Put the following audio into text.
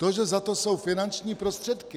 To, že za to jsou finanční prostředky?